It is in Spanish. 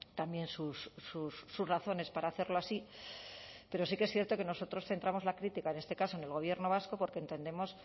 también sus razones para hacerlo así pero sí que es cierto que nosotros centramos la crítica en este caso en el gobierno vasco porque entendemos